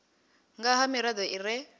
nga ha mirado i re